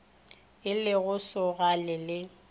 e le go šoga le